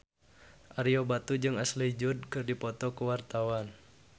Ario Batu jeung Ashley Judd keur dipoto ku wartawan